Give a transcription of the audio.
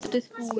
Mótið búið?